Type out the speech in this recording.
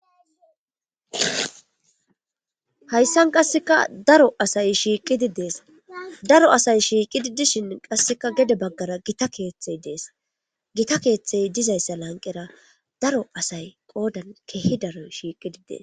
Hayssan qasseka daro asay shiiqidi dees daro asay shiiqidi dishin qasseka gede baggara gita keeththey dees gita keeththey dizayssa lanqera daro asay qoodan keehi daro shiiqidi dees.